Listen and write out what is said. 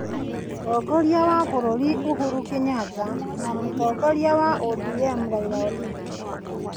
Mũtongoria wa bũrũri Uhuru Kenyatta na mũtongoria wa ODM Raila Odinga ,